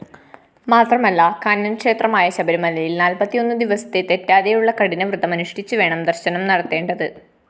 മാത്രമല്ല കാനനക്ഷേത്രമായ ശബരിമലയില്‍ നാല്‍പ്പത്തിയൊന്നുദിവസത്തെ തെറ്റാതെയുള്ള കഠിനവ്രതമനുഷ്ഠിച്ചുവേണം ദര്‍ശനം നടത്തേണ്ടത്